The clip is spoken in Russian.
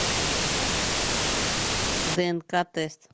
днк тест